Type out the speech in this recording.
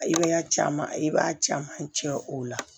Ay'a caman i b'a caman cɛ o la